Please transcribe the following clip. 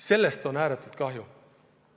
Sellest on ääretult kahju.